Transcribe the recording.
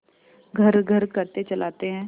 घर्रघर्र करके चलाते हैं